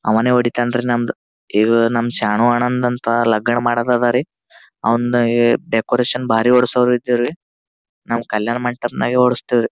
ಅವನೇ ಒಡೀತಾನೆ ರೀ ನಂದು ಈಗ ನಮ್ಮ ಶರಣು ಅಣ್ಣನ್ಡ್ ಅಂತ ಲಗ್ನ ಮಾಡದ ಅದರಿ ಅವ್ನ್ ಡೆಕೋರೇಷನ್ ಬಾರಿ ಹೊಡೆಸಾವ್ರ್ ಇದ್ದರಿ ನಾವು ಕಲ್ಯಾಣಮಂಟಪ ನಾಗನೇ ಹೊಡೆಸ್ತಿವಿ.